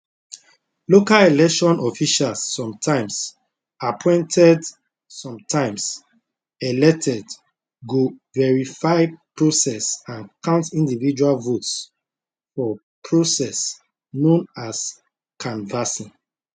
local election officials sometimes appointed sometimes elected go verify process and count individual votes for process known as canvassing